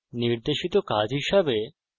নির্দেশিত কাজ হিসাবে